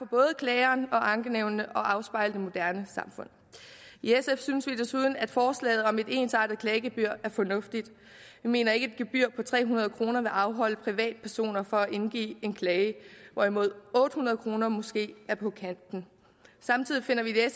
både klageren og ankenævnene og afspejler det moderne samfund i sf synes vi desuden at forslaget om et ensartet klagegebyr er fornuftigt vi mener ikke gebyr på tre hundrede kroner vil afholde privatpersoner fra at indgive en klage hvorimod otte hundrede kroner måske er på kanten samtidig finder vi det